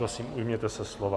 Prosím, ujměte se slova.